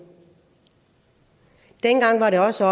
dengang var det også